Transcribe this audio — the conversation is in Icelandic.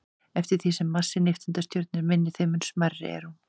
Eftir því sem massi nifteindastjörnu er minni, þeim mun smærri er hún.